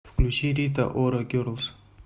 включи рита ора герлз